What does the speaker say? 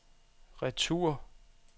retur